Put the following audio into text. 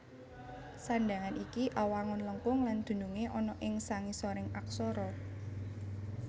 Sandhangan iki awangun lengkung lan dunungé ana ing sangisoring aksara